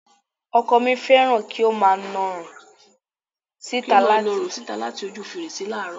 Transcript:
Ọkọ mi fẹ́ràn kí ó máa na ọrùn síta láti ojú fèrèsé láààrọ̀